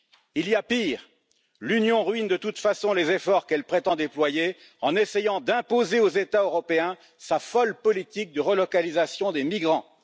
Il y a pire l'Union ruine de toute façon les efforts qu'elle prétend déployer en essayant d'imposer aux États européens sa folle politique de relocalisation des migrants.